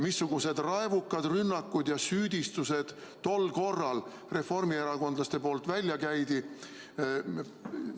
Missugused raevukad rünnakud ja süüdistused tol korral reformierakondlaste poolt välja käidi!